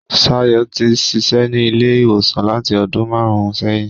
Ṣayọ̀ ti ń ṣiṣẹ́ ní ilé ìwòsàn láti ọdún màrùn-ún sẹ́yìn.